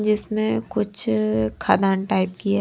जिसमें कुछ खादान टाइप की है।